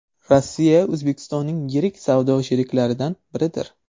Rossiya O‘zbekistonning yirik savdo sheriklaridan biridir.